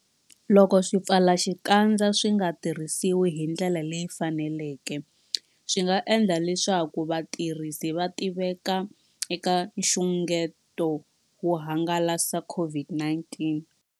Loko swipfalaxikandza swi nga tirhisiwi hi ndlela leyi faneleke, swi nga endla leswaku vatirhisi va tiveka eka nxungeto wo hangalasa COVID-19.